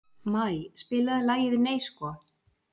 Maj, spilaðu lagið „Nei sko“.